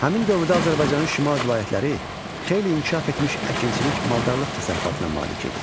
Həmin dövrdə Azərbaycanın şimal vilayətləri xeyli inkişaf etmiş əkinçilik, maldarlıq təsərrüfatına malik idi.